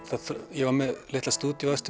ég var með litla